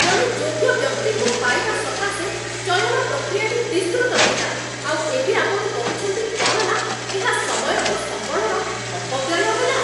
ଜଣେ ଯୋଗ୍ୟ ବ୍ୟକ୍ତିଙ୍କୁ ପାଇବା ସକାଶେ ଚୟନ ପ୍ରକ୍ରିୟାଟି ବିସ୍ତୃତ ଥିଲା, ଆଉ ଏବେ ଆପଣ କହୁଛନ୍ତି କ'ଣ ନା ଏହା ସମୟ ଓ ସମ୍ବଳର ଅପବ୍ୟୟ ହେଲା।